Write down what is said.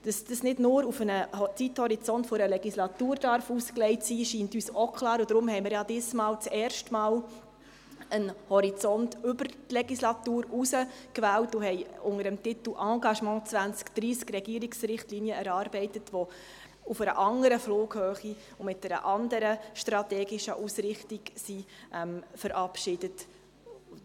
Dass dies nicht nur auf einen Zeithorizont von einer Legislatur ausgelegt sein darf, scheint uns auch klar, und darum haben wir diesmal zum ersten Mal einen Horizont über die Legislatur hinaus gewählt und haben unter dem Titel «Engagement 2030» Regierungsrichtlinien erarbeitet, die auf einer anderen Flughöhe und mit einer anderen strategischen Ausrichtung verabschiedet wurden.